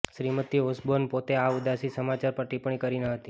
Shrimati Osborne પોતે આ ઉદાસી સમાચાર પર ટિપ્પણી કરી ન હતી